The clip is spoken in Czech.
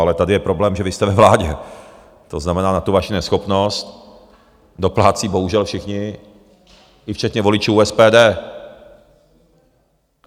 Ale tady je problém, že vy jste ve vládě, to znamená, na tu vaši neschopnost doplácí bohužel všichni i včetně voličů SPD.